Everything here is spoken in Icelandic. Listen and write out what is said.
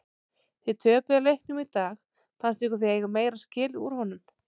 Þið töpuðu leiknum í dag fannst ykkur þið eiga meira skilið úr honum?